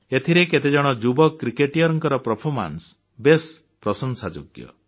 ଏଥିରେ କେତେଜଣ ଯୁବ କ୍ରିକେଟିୟରଙ୍କ ପରଫରମାନ୍ସ ବେଶ୍ ପ୍ରଶଂସାଯୋଗ୍ୟ